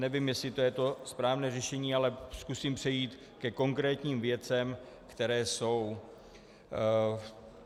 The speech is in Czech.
Nevím, jestli to je to správné řešení, ale zkusím přejít ke konkrétním věcem, které jsou.